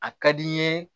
A ka di n ye